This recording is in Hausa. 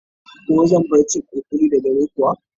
Ko zan bar cin kuli-kuli da dare kuwa?